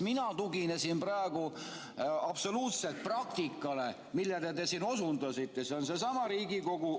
Mina tuginen praegu absoluutselt praktikale, millele te osundasite, see on seesama Riigikogu ...